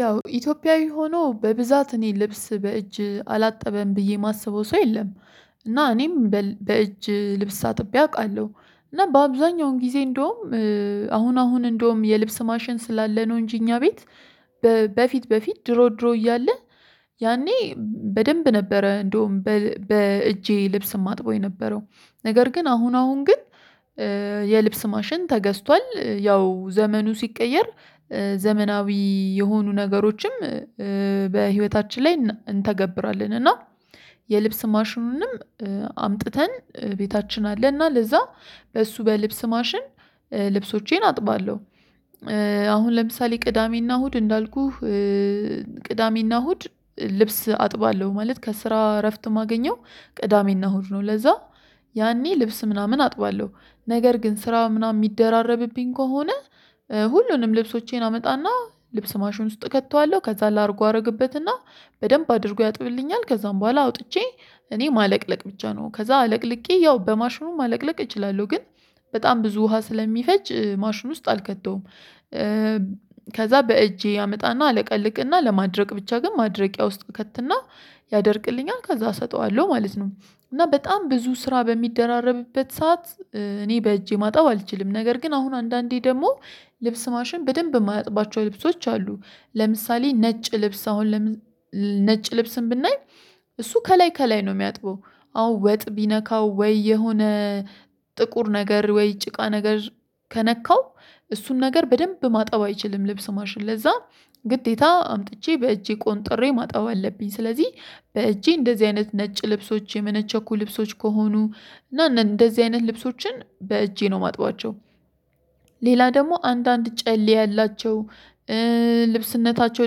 ያው ኢትዮጵያዊ ሆኖ በብዛት እኔ ልብስ በእጅ አላጠበም ብዬ የማስበው ሰው የለም። እና እኔም በእጅ ልብስ አጥቤ አውቃለሁ እና በአብዛኛው ጊዜ እንደውም አሁን አሁን እንደውም የልብስ ማሽን ስላለ ነው እንጂ እኛ ቤት። በፊት በፊት ድሮ ድሮ እያለ ያኔ በደንብ ነበረ እንደውም በእጄ ልብስ ማጥበው የነበረው ነገር ግን አሁን አሁን ግን። የልብስ ማሽን ተገዝቷል ያው ዘመኑ ሲቀየር ዘመናዊ የሆኑ ነገሮችም በህይወታችን ላይ እንተገብራለን። እና የልብስ ማሽኑንም አምጥተን ቤታችን አለ እና ለዛ በእሱ በልብስ ማሽን ልብሶቼን አጥባለሁ። አሁን ለምሳሌ ቅዳሜና እሁድ እንዳልኩህ ቅዳሜና እሁድ ልብስ አጥባለሁ ማለት ከስራ እረፍት ማገኘው ቅዳሜና እሁድ ነው። ለዛ ያኔ ልብስ ምናምን አጥባለሁ ነገር ግን ስራው ምናምን የሚደራረብብኝ ከሆነ ሁሉንም ልብሶቼን አመጣና ልብስ ማሹን ውስጥ ከተዋለሁ። ከዛ ላድርጉ አደርግበትና በደንብ አድርጎ ያጥብልኛል ከዛም በኋላ አውጥቼ እኔ ማለቅለቅ ብቻ ነው። ከዛ አለቅልቄ ያው በማሽኑም ማለቅለቅ እችላለሁ ግን በጣም ብዙ ውሃ ስለሚፈጅ ማሽን ውስጥ አልከተውም። ከዛ በእጄ አመጣና አለቀልቅና ለማድረቅ ብቻ ግን ማድረቂያ ውስጥ ከትና ያደርቅልኛል ከዛ እሰጠዋለሁ ማለት ነው። እና በጣም ብዙ ስራ በሚደራረብበት ሰዓት እኔ በእጄ ማጠብ አልችልም። ነገር ግን አሁን አንዳንዴ ደግሞ ልብስ ማሽን በደንብ የማያጥባቸው ልብሶች አሉ። ለምሳሌ ነጭ ልብስ አሁን ነጭ ልብስን ብናይ እሱ ከላይ ከላይ ነው የሚያጥበው። አዎ ወጥ ቢነካው ወይ የሆነ ጥቁር ነገር ወይ ጭቃ ነገር ከነካው እሱን ነገር በደንብ ማጠብ አይችልም። ልብስ ማሽን ለዛ ግዴታ አምጥቼ በእጄ ቆንጥሬ ማጣብ አለብኝ። ስለዚህ በእጄ እንደዚህ አይነት ነጭ ልብሶች የመነቸኩ ልብሶች ከሆኑ እና እንደዚህ አይነት ልብሶችን በእጄ ነው ማጥባቸው። ሌላ ደግሞ አንዳንድ ጨሌ ያላቸው ልብስነታቸው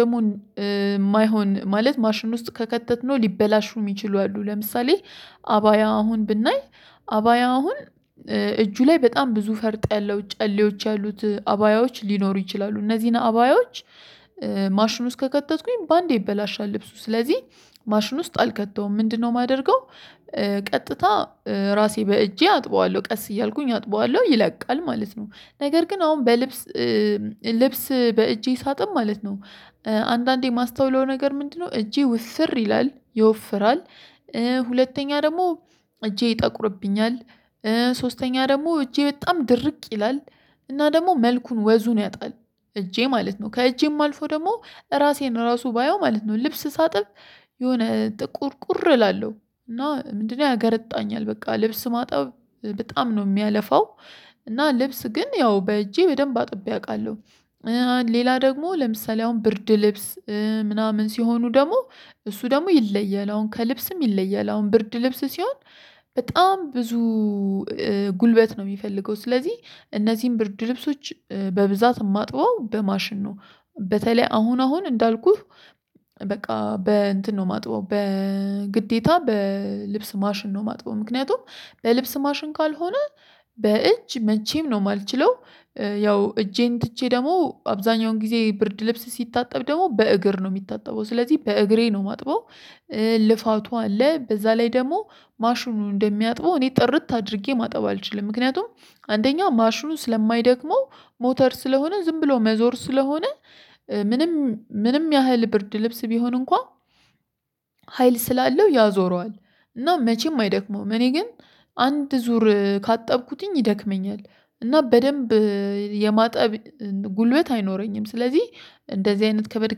ደግሞ የማይሆን ማለት ማሽን ውስጥ ከከተትነው ሊበላሹ የሚችሉ አሉ ለምሳሌ። አባያ አሁን ብናይ አባያ አሁን እጁ ላይ በጣም ብዙ ፈርጥ ያለው ጨሌዎች ያሉት አባያዎች ሊኖሩ ይችላሉ። እነዚህን አባያዎች ማሽን ውስጥ ከከተትኩኝ በአንዴ ይበላሻል። ልብሱ ስለዚህ ማሽን ውስጥ አልከተውም ምንድነው የማደርገው? ቀጥታ ራሴ በእጄ አጥበዋለሁ ቀስ እያልኩኝ አጥበዋለሁ ይለቃል ማለት ነው። ነገር ግን አሁን በልብስ ልብስ በእጄ ሳጥብ ማለት ነው አንዳንዴ የማስተውለው ነገር ምንድነው እጄ ውፍር ይላል ይወፍራል። ሁለተኛ ደግሞ እጄ ይጠቁርብኛል። ሶስተኛ ደግሞ እጄ በጣም ድርቅ ይላል። እና ደግሞ መልኩን ወዙን ያጣል። እጄ ማለት ነው ከእጄም አልፎ ደግሞ ራሴን ራሱ ባየው ማለት ነው። ልብስ ሳጥብ የሆነ ጥቁርቁር እላለሁ እና ምንድነው ያገረጣኛል በቃ ልብስ ማጠብ በጣም ነው የሚያለፋው። እና ልብስ ግን ያው በእጄ በደንብ አጥቤ አውቃለሁ። ሌላ ደግሞ ለምሳሌ አሁን ብርድ ልብስ ምናምን ሲሆኑ ደግሞ እሱ ደግሞ ይለያል ከልብስም ይለያል ብርድ ልብስ ሲሆን። በጣም ብዙ ጉልበት ነው የሚፈልገው ስለዚህ እነዚህን ብርድ ልብሶች በብዛት ማጥበው በማሽን ነው። በተለይ አሁን አሁን እንዳልኩህ በቃ በእንትን ነው ማጥበው በግዴታ በልብስ ማሽን ነው የማጥበው ምክንያቱም በልብስ ማሽን ካልሆነ በእጅ መቼም ነው የማልችለው። ያው እጄን ትቼ ደግሞ አብዛኛውን ጊዜ ብርድ ልብስ ሲታጠብ ደግሞ በእግር ነው የሚታጠበው ስለዚህ በእግሬ ነው ማጥበው። ልፋቱ አለ በዛ ላይ ደግሞ ማሽኑ እንደሚያጥበው እኔ ጥርት አድርጌ ማጠብ አልችልም። ምክንያቱም አንደኛ ማሽኑን ስለማይደክመው ሞተር ስለሆነ ዝም ብሎ መዞር ስለሆነ። ምንም ምንም ያህል ብርድ ልብስ ቢሆን እንኳን ስላለው ያዞረዋል። እና መቼም አይደክመውም እኔ ግን አንድ ዙር ካጠብኩትኝ ይደክመኛል። እና በደንብ የማጠብ ጉልበት አይኖረኝም። ስለዚህ እንደዚህ አይነት ከበድ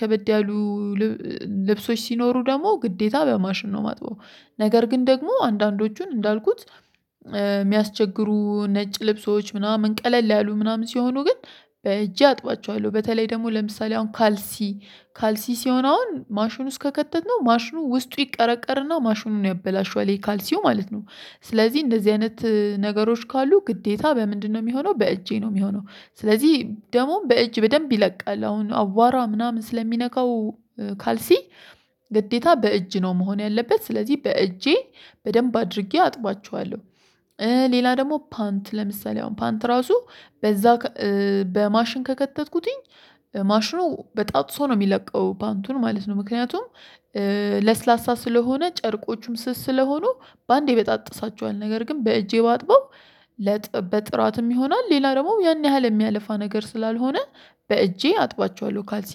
ከበድ ያሉ ልብሶች ሲኖሩ ደግሞ ግዴታ በማሽን ነው ማጥበው። ነገር ግን ደግሞ አንዳንዶቹን እንዳልኩት የሚያስቸግሩ ነጭ ልብሶች ምናምን ቀለል ያሉ ምናምን ሲሆኑ ግን በእጄ አጥቧቸዋለሁ። በተለይ ደግሞ ለምሳሌ አሁን ካልሲ ካልሲ ሲሆን አሁን ማሽኑ ውስጥ ከከተትነው ማሽኑ ውስጡ ይቀረቀርና ማሽኑን ያበላሸዋል የካልሲው ማለት ነው። ስለዚህ እንደዚህ አይነት ነገሮች ካሉ ግዴታ በምንድነው የሚሆነው በእጄ ነው የሚሆነው። ስለዚህ ደሞም በእጅ በደንብ ይለቃል አሁን አዋራ ምናምን ስለሚነካው ካልሲ ግዴታ በእጅ ነው መሆን ያለበት ስለዚህ በእጄ በደንብ አድርጌ አጥባቸዋለሁ። ሌላ ደግሞ ፓንት ለምሳሌ አሁን ፓንት ራሱ በዛ በማሽን ከከተትኩትኝ ማሽኑ በጣጥሶ ነው የሚለቀው ፓንቱን ማለት ነው። ምክንያቱም ለስላሳ ስለሆነ ጨርቆቹም ስስ ስለሆኑ በአንዴ ይበጣጥሳቸዋል። ነገር ግን በእጄ ባጥበው በጥራትም ጥራትም ይሆናል ሌላ ደግሞ ያን ያህል የሚያልፋ ነገር ስላልሆነ በእጄ አጥባቸዋለሁ። ካልሲ